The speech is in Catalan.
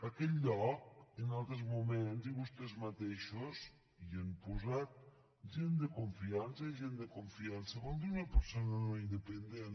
a aquest lloc en altres moments i vostès matei·xos hi hem posat gent de confiança i gent de confi·ança vol dir una persona no independent